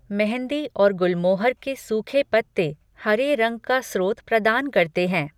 मेहंदी और गुलमोहर के सूखे पत्ते हरे रंग का स्रोत प्रदान करते हैं।